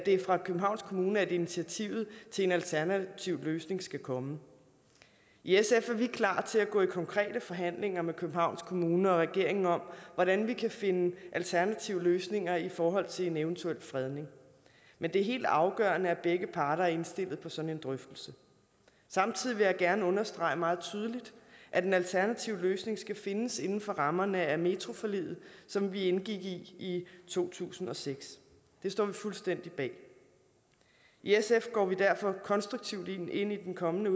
er fra københavns kommune at initiativet til en alternativ løsning skal komme i sf er vi klar til at gå i konkrete forhandlinger med københavns kommune og regeringen om hvordan vi kan finde alternative løsninger i forhold til en eventuel fredning men det er helt afgørende at begge parter er indstillet på sådan en drøftelse samtidig vil jeg gerne understrege meget tydeligt at en alternativ løsning skal findes inden for rammerne af metroforliget som vi indgik i i to tusind og seks det står vi fuldstændig bag i sf går vi derfor konstruktivt ind i den kommende